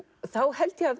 held ég að